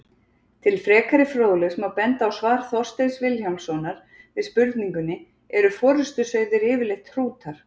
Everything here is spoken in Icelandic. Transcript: Til frekari fróðleiks má benda á svar Þorsteins Vilhjálmssonar við spurningunni Eru forystusauðir yfirleitt hrútar?